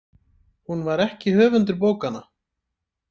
Hún var ekki höfundur bókanna.